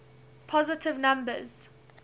positive numbers